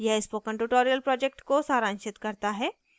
यह spoken tutorial को सारांशित करता है